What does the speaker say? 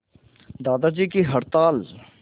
दादाजी की हड़ताल